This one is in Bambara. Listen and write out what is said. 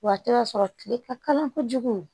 Wa a tɛ ka sɔrɔ kile ka kala kojugu